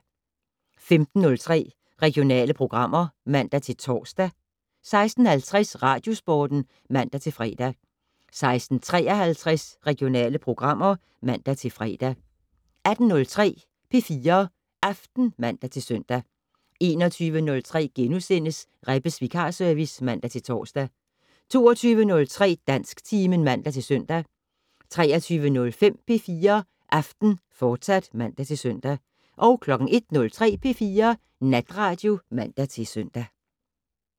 15:03: Regionale programmer (man-tor) 16:50: Radiosporten (man-fre) 16:53: Regionale programmer (man-fre) 18:03: P4 Aften (man-søn) 21:03: Rebbes vikarservice *(man-tor) 22:03: Dansktimen (man-søn) 23:05: P4 Aften, fortsat (man-søn) 01:03: P4 Natradio (man-søn)